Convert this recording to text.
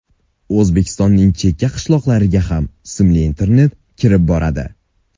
O‘zbekistonning chekka qishloqlarga ham simli internet kirib boradi.